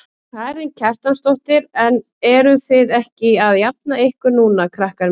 Karen Kjartansdóttir: En eruð þið ekki að jafna ykkur núna krakkar mínir?